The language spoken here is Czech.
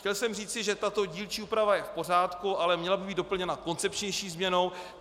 Chtěl jsem říci, že tato dílčí úprava je v pořádku, ale měla by být doplněna koncepčnější změnou.